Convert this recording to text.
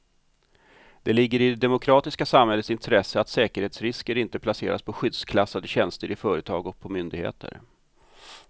Det ligger i det demokratiska samhällets intresse att säkerhetsrisker inte placeras på skyddsklassade tjänster i företag och på myndigheter.